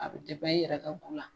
A bi i yɛrɛ ka ko la